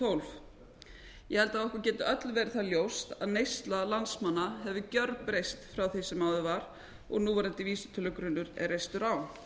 tólf ég held að okkur geti öllum verið það ljóst að neysla landsmanna hafi gjörbreyst frá því sem áður var og núverandi vísitölugrunnur er reistur á